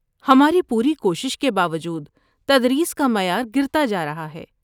ہماری پوری کوشش کے باوجود تدریس کا معیار گرتا جارہا ہے